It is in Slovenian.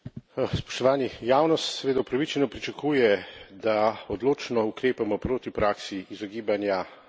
Javnost seveda upravičeno pričakuje, da odločno ukrepamo proti praksi izogibanja davkov.